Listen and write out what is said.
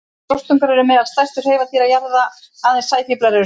Rostungar eru meðal stærstu hreifadýra jarðar, aðeins sæfílar eru stærri.